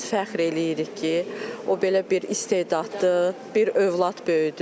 Biz fəxr eləyirik ki, o belə bir istedadlı bir övlad böyüdü.